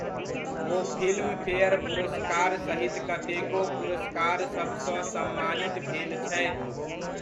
ओ Filmfare पुरस्कार सहित कतेको पुरस्कारसभसँ सम्मानित भेल छथि।